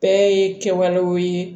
Bɛɛ ye kɛwalew ye